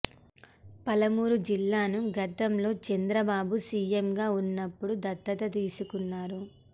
పాలమూరు జిల్లాను గతంలో చంద్రబాబు సిఎం గా ఉన్నప్పుడు దత్తత తీసుకున్నారు